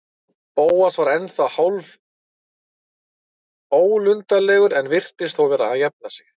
Bóas var ennþá hálfólundarlegur en virtist þó vera að jafna sig.